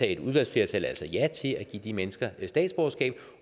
et udvalgsflertal ja til at give de mennesker statsborgerskab